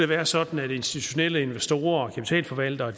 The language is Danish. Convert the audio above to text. være sådan at institutionelle investorer og kapitalforvaltere